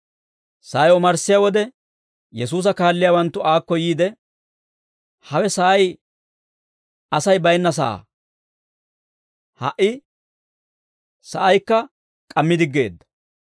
Sa'ay omarssiyaa wode, Yesuusa kaalliyaawanttu aakko yiide, «Hawe sa'ay Asay baynna sa'aa; ha"i sa'aykka k'ammi diggeedda;